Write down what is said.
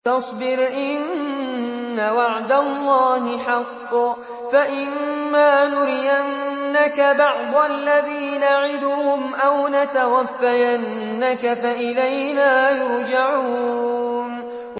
فَاصْبِرْ إِنَّ وَعْدَ اللَّهِ حَقٌّ ۚ فَإِمَّا نُرِيَنَّكَ بَعْضَ الَّذِي نَعِدُهُمْ أَوْ نَتَوَفَّيَنَّكَ فَإِلَيْنَا يُرْجَعُونَ